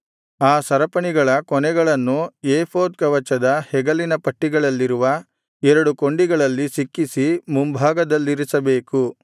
ಆ ಸರಪಣಿಗಳ ಕೊನೆಗಳನ್ನು ಏಫೋದ್ ಕವಚದ ಹೆಗಲಿನ ಪಟ್ಟಿಗಳಲ್ಲಿರುವ ಎರಡು ಕೊಂಡಿಗಳಲ್ಲಿ ಸಿಕ್ಕಿಸಿ ಮುಂಭಾಗದಲ್ಲಿರಿಸಬೇಕು